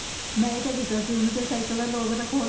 ਮੈਂ ਹੀ ਤਾਂ ਦੱਸਿਆ ਸੀ ਉਹਨੂੰ ਤੇਰੀ ਸਾਇਕਲ ਦਾ lock ਤਾਂ ਖੋਲ,